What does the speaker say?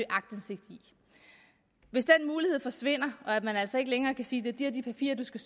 aktindsigt i hvis den mulighed forsvinder og man altså ikke længere kan sige at det er de og de papirer der skal